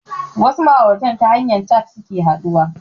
Wasu ma'aurata ta hanyar cat suke haɗuwa